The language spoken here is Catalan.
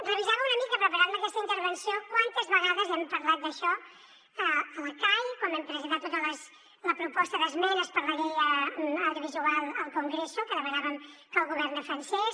revisava una mica preparant me aquesta intervenció quantes vegades hem parlat d’això a la cai quan vam presentar tota la proposta d’esmenes per la llei audiovisual al congreso que demanàvem que el govern defensés